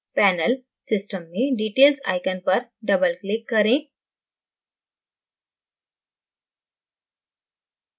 panel system में details icon पर double click करें